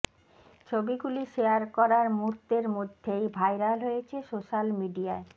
ছবিগুলি শেয়ার করার মুহূর্তের মধ্যেই ভাইরাল হয়েছে সোশ্যাল মিডিয়ায়